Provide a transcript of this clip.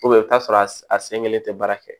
i bɛ t'a sɔrɔ a sen kelen tɛ baara kɛ